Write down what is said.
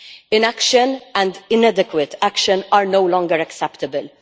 Inaction and inadequate action are no longer acceptable.